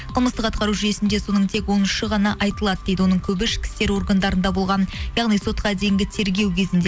қылмыстық атқару жүйесінде соның тек он үші ғана айтылады дейді оның көбі ішкі істер органдарында болған яғни сотқа дейінгі тергеу кезінде